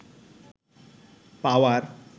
পাওয়ার